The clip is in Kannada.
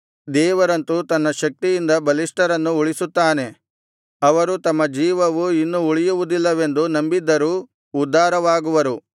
ದೇವರಂತು ತನ್ನ ಶಕ್ತಿಯಿಂದ ಬಲಿಷ್ಠರನ್ನು ಉಳಿಸುತ್ತಾನೆ ಅವರು ತಮ್ಮ ಜೀವವು ಇನ್ನು ಉಳಿಯುವುದಿಲ್ಲವೆಂದು ನಂಬಿದ್ದರೂ ಉದ್ಧಾರವಾಗುವರು